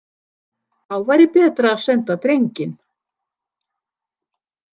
Þá væri betra að senda drenginn.